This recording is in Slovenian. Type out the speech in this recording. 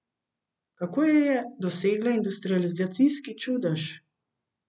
Kako je dosegla industrializacijski čudež?